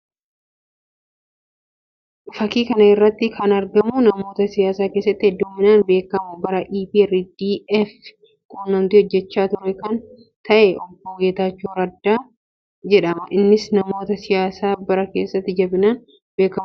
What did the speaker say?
Fakkii kana irratti kan argamu namoota siyaasa keessatti hedduminaan beekamu bara EPRDF quunnamtii hojjechaa ture kan ta'e Obbo Geetaachoo Raddaa jedhama. Innis namoota siyaasaa bara EPRDF keessatti jabinaan beekamuu dha.